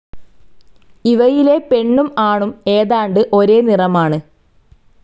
ഇവയിലെ പെണ്ണും ആണും ഏതാണ്ട് ഒരേ നിറമാണ്.